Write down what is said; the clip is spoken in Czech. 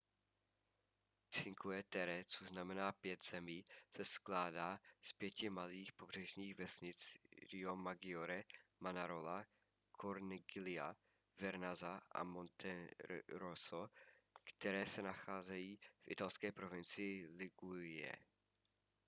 cinque terre což znamená pět zemí se skládá z pěti malých pobřežních vesnic riomaggiore manarola corniglia vernazza a monterosso které se nacházejí v italské provincii ligurie